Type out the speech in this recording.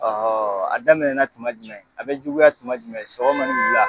a daminɛ na tuma jumɛn a bɛ juguya tuma jumɛn sɔgɔma ni wula.